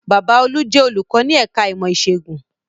Bàbá olú jẹ́ olùkọ́ ní ẹ̀ka ìmọ̀ ẹ̀kọ́ ìṣègùn